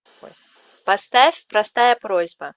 поставь простая просьба